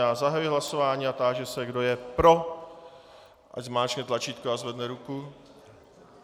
Já zahajuji hlasování a táži se, kdo je pro, ať zmáčkne tlačítko a zvedne ruku.